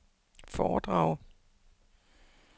foredrag